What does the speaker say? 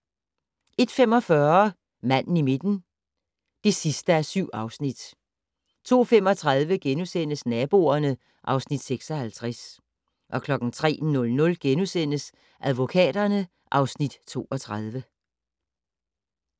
01:45: Manden i midten (7:7) 02:35: Naboerne (Afs. 56)* 03:00: Advokaterne (Afs. 32)*